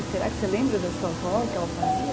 E será que você lembra da sua avó, o que ela fazia?